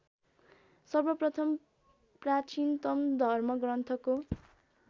सर्वप्रथम प्राचीनतम धर्मग्रन्थको